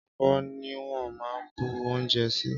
Ábò niwòn mà n bú óunjè si